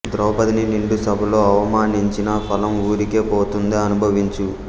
ద్రౌపదిని నిండు సభలో అవమానించిన ఫలం ఊరికే పోతుందా అనుభవించు